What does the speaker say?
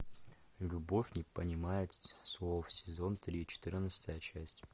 любовь не понимает слов сезон три четырнадцатая часть